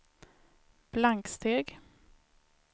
blanksteg